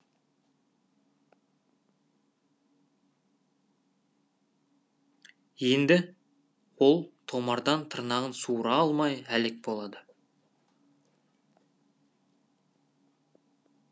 енді ол томардан тырнағын суыра алмай әлек болады